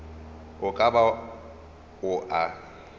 e ka ba o a